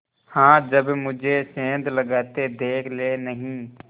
हाँ जब मुझे सेंध लगाते देख लेनहीं